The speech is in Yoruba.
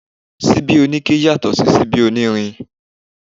Síbí oníke yàtọ̀ sí síbí onírin